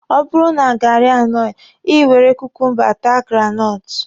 Ọ bụrụ na gaarị anọghị, Ị were kukumba taa granọtụ.